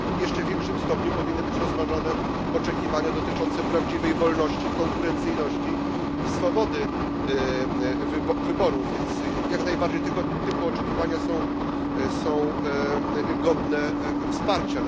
Jeszcze w większym stopniu powinny być rozważone oczekiwania dotyczące prawdziwej wolności, konkurencyjności i swobody wyborów, więc jak najbardziej tego typu oczekiwania są godne wsparcia.